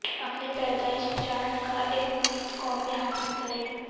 اپنے پیدائش چارٹ کا ایک مفت کاپی حاصل کریں